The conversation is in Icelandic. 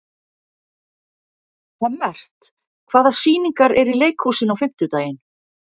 Hemmert, hvaða sýningar eru í leikhúsinu á fimmtudaginn?